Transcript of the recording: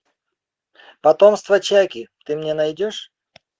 потомство чаки ты мне найдешь